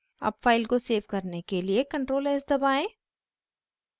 अब फाइल को सेव करने के लिए ctrl+s दबाएं